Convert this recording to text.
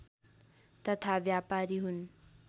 तथा व्यपारी हुन्